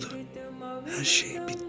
Budur, hər şey bitdi.